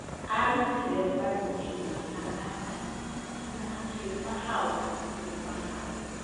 Arutire mbaru ĩmwe ya Adamu na akĩũmba Hawa kuuma hau.